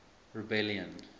rebellion